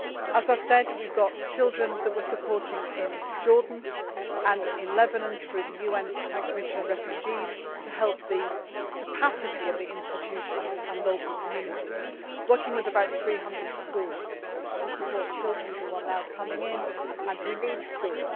As I have said, we have children that we are supporting in Jordan and in Lebanon, through the UN High Commission for Refugees, to help the capacity of the institutions and local communities that are working with about 300 schools to support children who are now coming in and who need school.